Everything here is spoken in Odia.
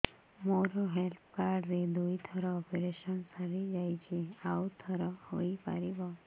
ମୋର ହେଲ୍ଥ କାର୍ଡ ରେ ଦୁଇ ଥର ଅପେରସନ ସାରି ଯାଇଛି ଆଉ ଥର ହେଇପାରିବ